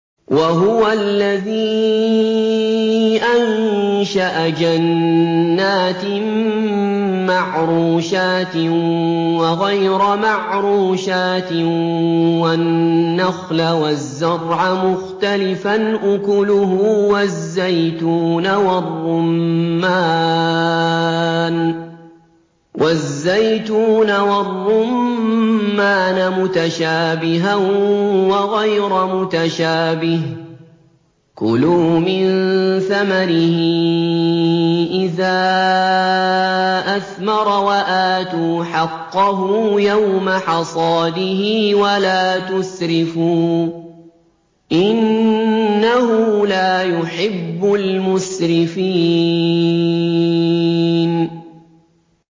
۞ وَهُوَ الَّذِي أَنشَأَ جَنَّاتٍ مَّعْرُوشَاتٍ وَغَيْرَ مَعْرُوشَاتٍ وَالنَّخْلَ وَالزَّرْعَ مُخْتَلِفًا أُكُلُهُ وَالزَّيْتُونَ وَالرُّمَّانَ مُتَشَابِهًا وَغَيْرَ مُتَشَابِهٍ ۚ كُلُوا مِن ثَمَرِهِ إِذَا أَثْمَرَ وَآتُوا حَقَّهُ يَوْمَ حَصَادِهِ ۖ وَلَا تُسْرِفُوا ۚ إِنَّهُ لَا يُحِبُّ الْمُسْرِفِينَ